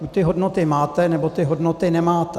Buď ty hodnoty máte, nebo ty hodnoty nemáte.